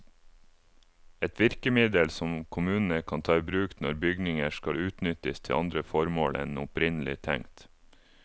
Et virkemiddel som kommunene kan ta i bruk når bygninger skal utnyttes til andre formål enn opprinnelig tenkt.